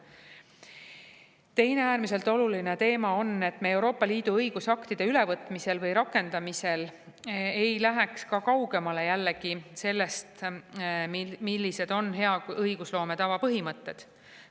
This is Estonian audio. Teine äärmiselt oluline teema on, et me ka Euroopa Liidu õigusaktide ülevõtmisel või rakendamisel ei läheks kaugemale sellest, millised on hea õigusloome tava põhimõtted.